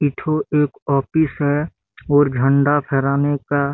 ए ठो एक ऑफिस है और झंडा फहराने का--